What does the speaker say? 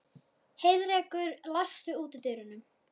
Heiðrekur, læstu útidyrunum.